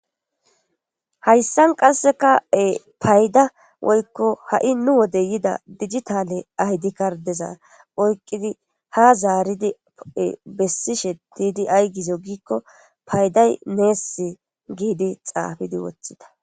Hayssan qasseka payda woykko ha'i nu wode yida dijitale aydi kardeza oykqidi ha zaaridie bessi she diidi ay gizo giikko payday neess giidi xaafidi woththida.